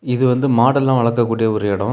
இது வந்து மாடெல்லா வளர்க்க கூடிய ஒரு எடொ.